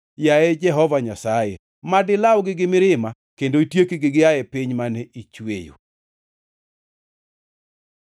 Yaye Jehova Nyasaye, mad ilawgi gi mirima, kendo itiekgi gia e piny mane ichweyo.